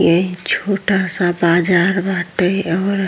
ये छोटा सा बाजार बाटे और --